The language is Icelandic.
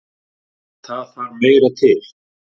En það þarf meira til.